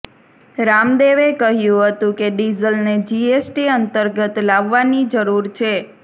રામદેવે કહ્યું હતું કે ડીઝલને જીએસટી અંતર્ગત લાવવાની જરૂર છે